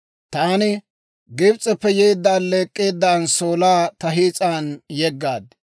Taani Gibs'eppe yeedda, alleek'k'eedda anssoolaa ta hiis'an yeggaad.